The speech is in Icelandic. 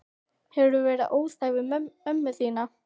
Hefurðu verið óþæg við ömmu þína?